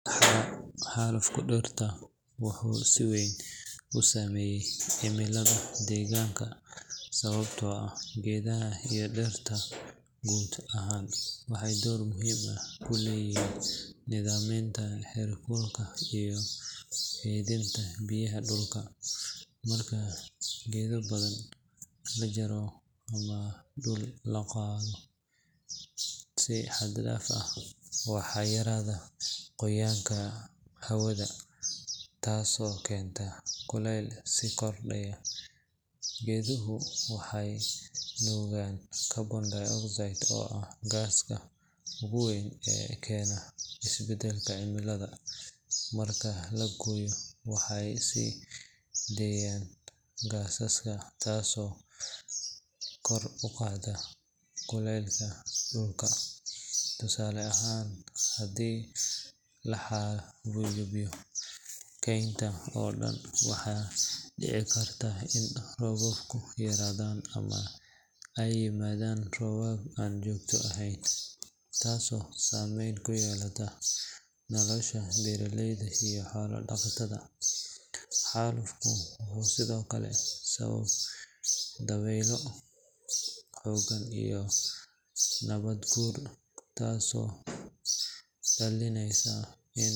Xalufka dhirta wuxuu si weyn u saameeyaa cimilada deegaanka sababtoo ah geedaha iyo dhirta guud ahaan waxay door muhiim ah ku leeyihiin nidaaminta heerkulka iyo kaydinta biyaha dhulka. Marka geedo badan la jaro ama dhul la daaqo si xad dhaaf ah, waxaa yaraada qoyaanka hawada, taasoo keenta kuleyl sii kordha. Geeduhu waxay nuugaan carbon dioxide oo ah gaaska ugu weyn ee keena isbedelka cimilada, marka la gooyo waxay sii deynayaan gaaskaas taasoo kor u qaadaysa kuleylka dhulka. Tusaale ahaan, haddii la xayuubiyo kaynta oo dhan, waxaa dhici karta in roobabku yaraadaan ama ay yimaadaan roobab aan joogto ahayn, taasoo saameyn ku yeelata nolosha beeraleyda iyo xoolo-dhaqatada. Xalufku wuxuu sidoo kale sababaa dabeylo xooggan iyo nabaad guur, taasoo dhalisa in.